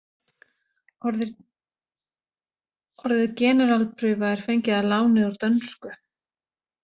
Orðið generalprufa er fengið að láni úr dönsku.